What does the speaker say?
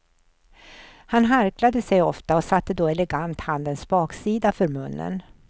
Han harklade sig ofta och satte då elegant handens baksida för munnen.